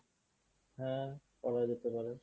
হ্যাঁ করা যেতে পারে।